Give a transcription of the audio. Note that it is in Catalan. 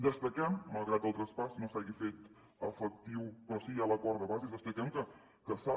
destaquem malgrat el traspàs no s’hagi fet efectiu però sí hi ha l’acord de bases destaquem que s’ha